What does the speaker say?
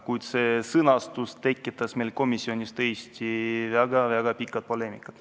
Kuid see formuleering tekitas meil komisjonis tõesti väga pika poleemika.